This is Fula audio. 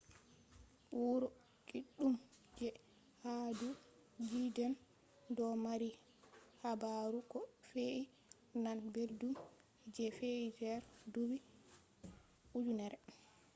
wuro kiddum je ha do judean do mari habaru ko fe’i nane beldum je fe’i der duubi ujinere